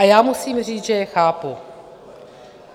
A já musím říct, že je chápu.